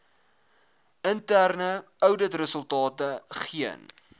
interne ouditresultate geen